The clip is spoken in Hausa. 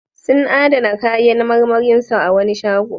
Sun adana kayan marmarin su a wani shago.